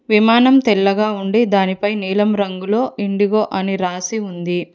విమానం తెల్లగా ఉండి దానిపై నీలం రంగులో ఇండిగో అని రాసి ఉంది.